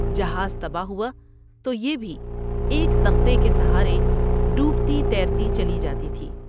جہاز تباہ ہوا تو یہ بھی ایک تختے کے سہارے ڈوبتی تیرتی چلی جاتی تھی ۔